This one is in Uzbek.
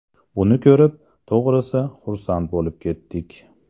Buni ko‘rib, to‘g‘risi, xursand bo‘lib ketdik.